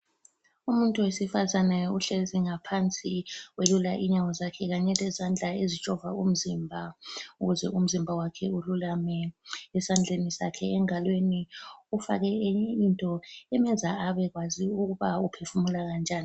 Umuntu wesifazane uhlezi ngaphansi welula inyawo zakhe Kanye lezandla ezijova umzimba ,ukuze umzimba wakhe ululame ,esandleni sakhe engalweni ufake enye into emenza abekwazi ukuba uphefumula kanjani